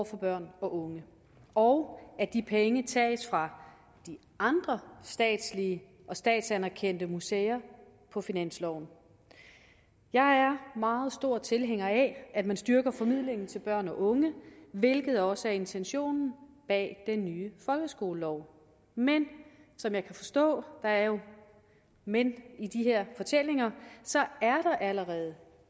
for børn og unge og at de penge tages fra de andre statslige og statsanerkendte museer på finansloven jeg er meget stor tilhænger af at man styrker formidlingen til børn og unge hvilket også er intentionen bag den nye folkeskolelov men som jeg kan forstå der er jo et men i de her fortællinger så er der allerede